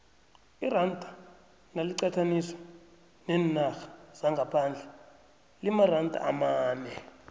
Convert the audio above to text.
iranda naliqathaniswa neenarha zangaphandle limaranda amane